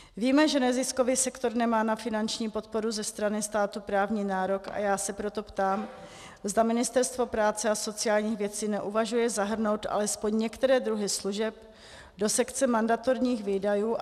Víme, že neziskový sektor nemá na finanční podporu ze strany státu právní nárok, a já se proto ptám, zda Ministerstvo práce a sociálních věcí neuvažuje zahrnout alespoň některé druhy služeb do sekce mandatorních výdajů.